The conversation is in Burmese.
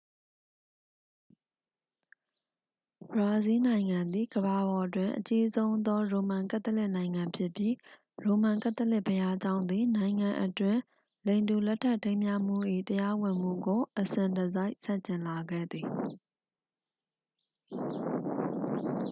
ဘရာဇီးနိုင်ငံသည် ကမ္ဘာပေါ်တွင် အကြီးဆုံးသော ရိုမန်ကက်သလစ်နိုင်ငံဖြစ်ပြီး ရိုမန်ကက်သလစ်ဘုရားကျောင်းသည် နိုင်ငံအတွင်း လိင်တူလက်ထပ်ထိမ်းမြှားမှု၏ တရားဝင်မှုကို အစဉ်တစိုက် ဆန့်ကျင်လာခဲ့သည်